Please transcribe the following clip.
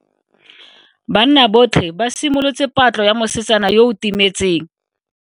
Banna botlhe ba simolotse patlo ya mosetsana yo o timetseng.